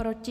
Proti?